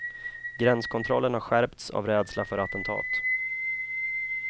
Gränskontrollen har skärpts av rädsla för attentat.